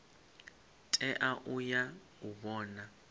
tea u ya u vhona